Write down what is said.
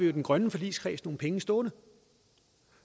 i den grønne forligskreds nogle penge stående